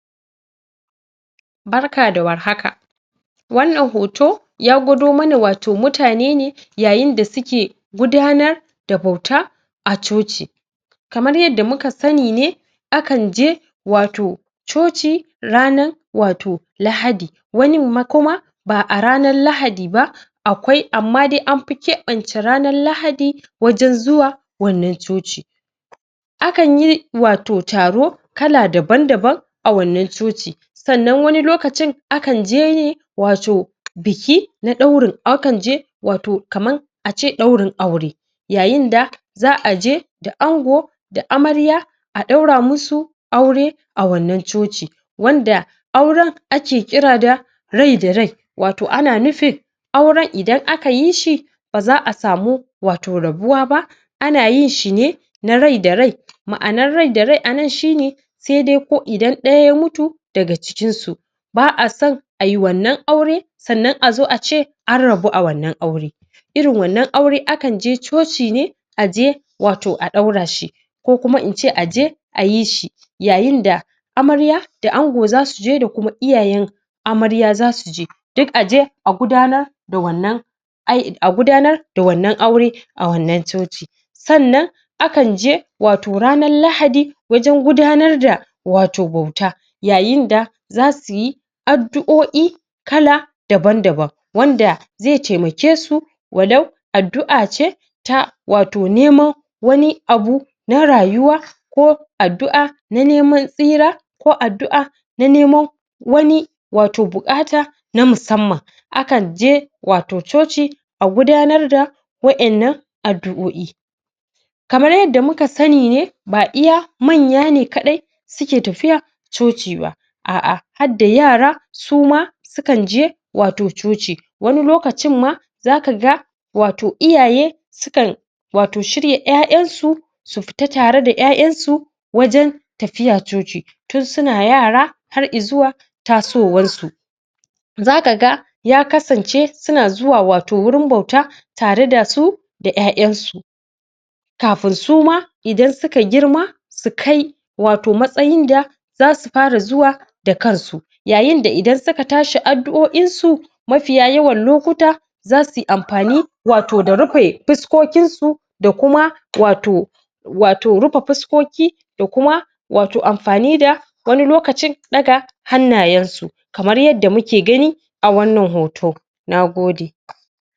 barka da war haka wannan hoto ya gwado mana wato mutane ne yayin da suke gudanar da bauta a coci kamar yadda muka sani ne a kan je wato coci ranar wato Lahadi wanin ma kuma ba a ranar Lahadi ba akwai amma dai an fi keɓance ranar Lahadi wajen zuwa wannan coci a kan yi wato taro kala daban daban a wannan coci sannan wani lokacin a kan je ne wato biki na ɗaurin a kan je wato kaman a ce ɗaurin aure yayin da za a je da ango da amarya a ɗaura musu aure a wannan coci wanda auren a ke kira da rai da rai wato ana nufin auren idan aka yi shi ba za a samu wato rabuwa ba a na yin shi ne na rai da rai ma'anar rai da rai a nan shi ne sai dai ko idan ɗaya ya mutu daga cikinsu ba a san ai wannan aure sannan a zo a ce an rabu a wannan aure irin wannan aure a kan je coci ne a je watau a ɗaura shi ko kuma in ce a je a yi shi yayin da amarya da ango za su je da kuma iyayen amarya za su je duk a je a gudanar da wannan ai a gudanar da wannan aure a wannan coci sannan a kan je wato ranar Lahadi wajen gudanar da wato bauta yayin da za suyi addu'o'i kala daban daban wanda zai taimakesu walau addu'a ce ta watau neman wani abu na rayuwa ko addu'a na neman tsira ko addu'a na neman wani wato bukata na musamman a kan je wato coci a gudanar da wa innan addu'o'i addu'o'i kamar yadda muka sani ne ba iya manya ne kaɗai suke tafiya coci ba a'a hadda yara su ma su kan je wato coci wani lokacin ma za kaga wato iyaye su kan wato shirya 'ya'yansu su fita tare da 'ya'yansu wajen tafiya coci tun suna yara har izuwa tasowarsu za kaga ya kasance suna zuwa wato wurin bauta tare da su da 'ya'yansu kafin su ma idan su ka girma su kai wato matsayin da za su fara zuwa da kan su yayin da idan suka tashi addu'o'in su mafiya yawan lokuta za su yi amfani wato da rufe fuskokinsu da kuma wato wato rufe fuskoki wato rufe fuskoki da kuma wato amfani da wani lokacin ɗaga hannayensu kamar yadda muke gani a wannan hoto nagode